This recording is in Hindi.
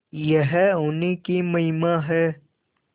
यह उन्हीं की महिमा है